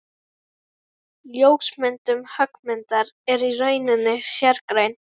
Ljósmyndun höggmynda er í rauninni sérgrein.